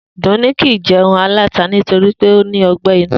Dùnní kì í je̩un aláta nitori pé ó ní o̩gbé̩ inú